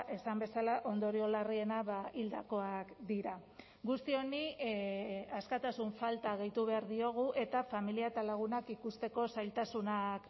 esan bezala ondorio larriena hildakoak dira guzti honi askatasun falta gehitu behar diogu eta familia eta lagunak ikusteko zailtasunak